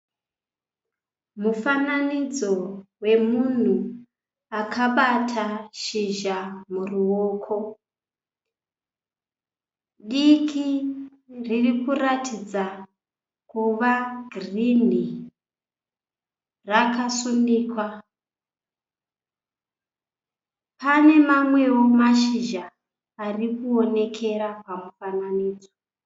Mufananidzo wemunhu akabata shizha muruoko diki riri kuratidza kuva girinhi rakasunikwa. Panewo mamwe mashizha ari kuonekera pamufananidzo.